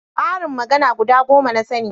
ƙarin magana guda goma na sani